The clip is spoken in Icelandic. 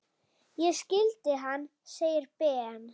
Ég skildi hann! segir Ben.